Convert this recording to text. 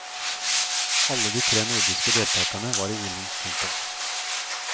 Alle de tre nordiske deltagerne var i ilden. punktum